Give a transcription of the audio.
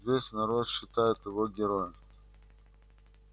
весь народ считает его героем